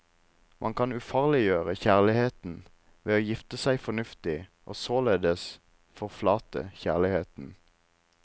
Man kan ufarliggjøre kjærligheten ved å gifte seg fornuftig, og således forflate kjærligheten.